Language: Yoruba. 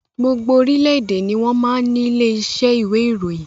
Gbogbo orílédé ni wọn máa ń ní ilé iṣẹ́ ìwé ìròyìn